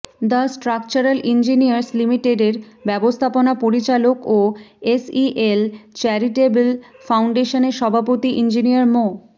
the structural engineers লিমিটেডের ব্যবস্থাপনা পরিচালক ও এসইএল চ্যারিটেবল ফাউন্ডেশনের সভাপতি ইঞ্জিনিয়ার মো